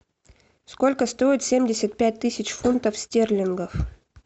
сколько стоит семьдесят пять тысяч фунтов стерлингов